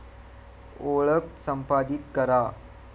ओळख संपादीत करा